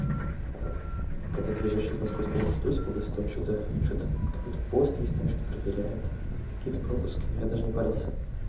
аа когда ты выезжаешь из московской области в тульскую область там что-то что-то какой-то пост есть там что-то проверяют какие-то пропуски но я даже не парился